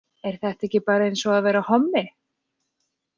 Er þetta ekki bara eins og að vera hommi?